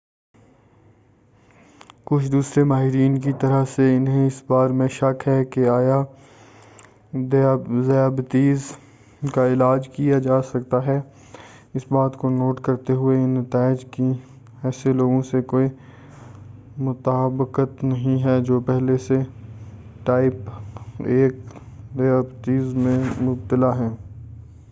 کچھ دوسرے ماہرین کی طرح سے، انہیں اس بارے میں شک ہے کہ آیا ذیابیطس کا علاج کیا جا سکتا ہے، اس بات کو نوٹ کرتے ہوئے کہ ان نتائج ۔کی ایسے لوگوں سے کوئی مطابقت نہیں ہے جو پہلے سے ٹائپ 1 ذیابیطس میں مبتلا ہیں۔